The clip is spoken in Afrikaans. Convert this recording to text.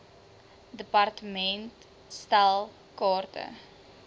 department stel kaarte